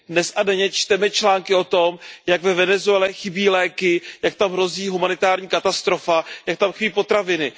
Dnes a denně čteme články o tom, jak ve Venezuele chybí léky, jak tam hrozí humanitární katastrofa, jak tam chybí potraviny.